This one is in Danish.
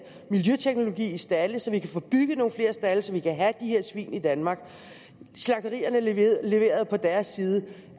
miljøteknologi i stalde så vi kan få bygget nogle flere stalde så vi kan have de her svin i danmark slagterierne leverede leverede på deres side